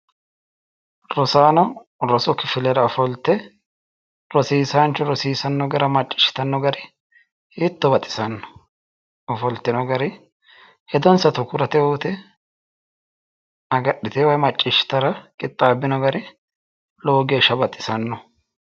Rosaano rosu kifilera ofolte rosiisaanchu rosiisanno gara macciishshitanno hari hiitto baxisanno, ofoltino gari hedonsa tukurete uyte, agadhiteewo woy macciishshitewo gari hiitto baxisanno